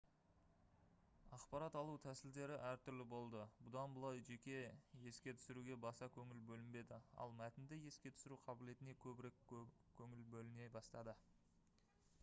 ақпарат алу тәсілдері әртүрлі болды бұдан былай жеке еске түсіруге баса көңіл бөлінбеді ал мәтінді еске түсіру қабілетіне көбірек көңіл бөліне бастады